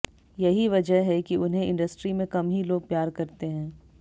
यही वजह है कि उन्हें इंडस्ट्री में कम ही लोग प्यार करते हैं